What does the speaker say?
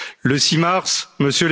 chez elle.